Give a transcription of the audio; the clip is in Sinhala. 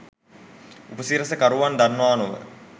උපසිරැස කරුවන් දන්නවා නොව